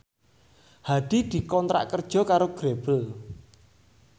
Hadi dikontrak kerja karo Grebel